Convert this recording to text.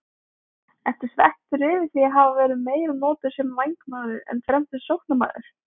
Ertu svekktur yfir því að hafa verið meira notaður sem vængmaður en fremsti sóknarmaður?